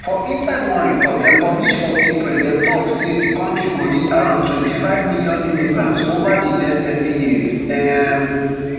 for inside one report dem publish for april dem tok say di kontri go need around twenty-five million immigrants ova di next thirty years um